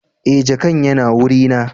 eh jakan Yana wurina